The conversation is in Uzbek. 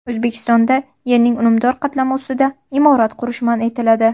O‘zbekistonda yerning unumdor qatlami ustida imorat qurish man etiladi.